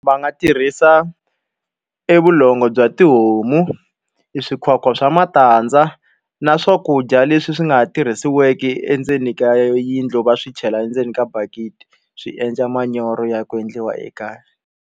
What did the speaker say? Va nga tirhisa e vulongo bya tihomu, e swikhwakhwa swa matandza, na swakudya leswi swi nga tirhisiwiki endzeni ka yindlu va swi chela endzeni ka bakiti swi endla manyoro ya ku endliwa ekaya.